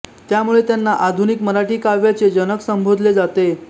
त्यामुळे त्यांना आधुनिक मराठी काव्याचे जनक संबोधले जाते